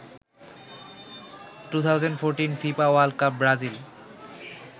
2014 fifa world cup Brazil